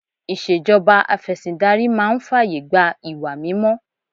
Ìṣèjọba ìfẹ̀sìndarí máa ń fàyè gba ìwà mímọ́